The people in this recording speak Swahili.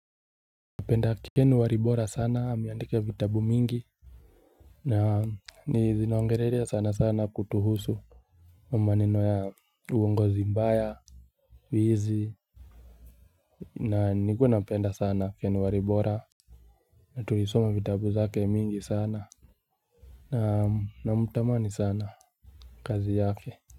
Napenda Ken Walibora sana ameandika vitabu mingi. Na ni zinaongelelea sana sana kutuhusu. Maneno ya uongozi mbaya wizi na nilikuwa napenda sana Ken Walibora. Na tulisoma vitabu zake mingi sana. Na namtamani sana kazi yake.